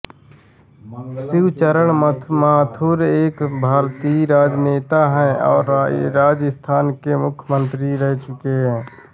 शिवचरण माथुर एक भारतीय राजनेता है और राजस्थान के मुख्यमंत्री रह चुके है